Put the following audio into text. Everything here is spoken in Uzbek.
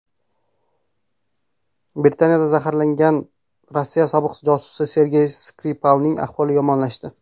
Britaniyada zaharlangan Rossiya sobiq josusi Sergey Skripalning ahvoli yomonlashdi.